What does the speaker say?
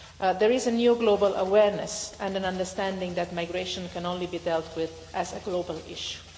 There is a new global awareness and an understanding that migration can only be dealt with as a global issue.